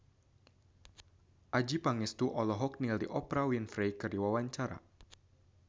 Adjie Pangestu olohok ningali Oprah Winfrey keur diwawancara